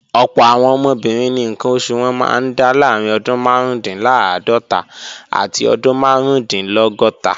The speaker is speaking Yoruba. Ọ̀pọ̀ àwọn obìnrin ni ǹkan oṣù wọn máa ń dá láàrín ọdún márùúndínláàádọ́ta àti ọdún márùúndínlọ́gọ́ta